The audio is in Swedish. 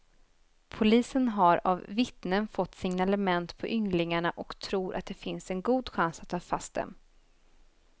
Polisen har av vittnen fått signalement på ynglingarna och tror att det finns en god chans att ta fast dem.